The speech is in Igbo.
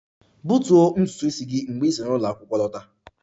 Gbutuo ntutu isi mgbe ị si n'ụlọ akwụkwọ lọta!